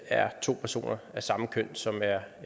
er to personer af samme køn som er